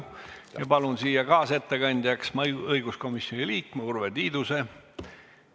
Palun kaasettekandjaks õiguskomisjoni liikme Urve Tiiduse.